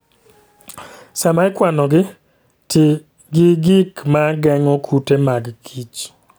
Sama ikwanogi, ti gi gik ma geng'o kute mag kich